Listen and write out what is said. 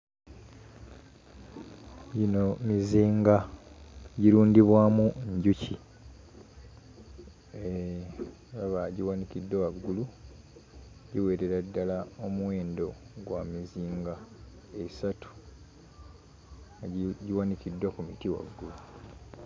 Gino mizinga girundibwamu njuki mm ndaba giwanikiddwa waggulu giwerera ddala omuwendo gwa mizinga esatu ebi giwanikiddwa ku muti waggulu.